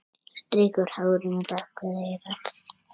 Strýkur hárinu bak við eyrað.